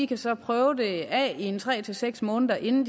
kan så prøve det af i tre seks måneder inden